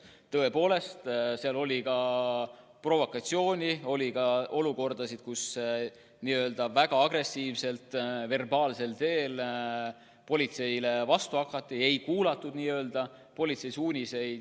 Tõepoolest, seal oli ka provokatsiooni, oli ka olukordasid, kus väga agressiivselt verbaalsel teel politseile vastu hakati, ei kuulatud politsei suuniseid.